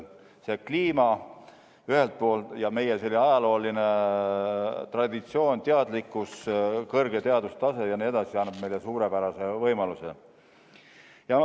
Kliima ühelt poolt ja meie ajalooline traditsioon, teadlikkus, kõrge teadustase jne teiselt poolt annavad meile suurepärase võimaluse.